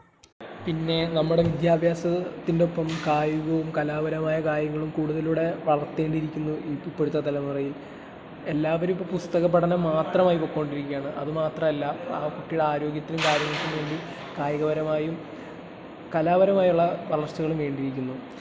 മ്, എടുക്കണ്ടയാണ്..... പിന്നെ നമ്മടെ വിദ്യാഭ്യാസത്തിന്റെ ഒപ്പം കായികവും കലാപരമായ കാര്യങ്ങളും കൂടുതലൂടെ വളർത്തേണ്ടിയിരിക്കുന്നു ഇപ്പോഴത്തെ തലമുറയിൽ. എല്ലാവരും ഇപ്പൊ പുസ്തകപഠനം മാത്രമായി പൊയ്ക്കൊണ്ടിരിക്കുകയാണ്. അത് മാത്രമല്ല, കുട്ടിയുടെ ആരോഗ്യത്തിനും കാര്യങ്ങൾക്കും വേണ്ടി കായികപരമായും കലാപരമായും ഉള്ള വളർച്ചകളും വേണ്ടിയിരിക്കുന്നു.